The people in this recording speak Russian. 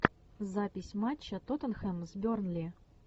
запись матча тоттенхэм с бернли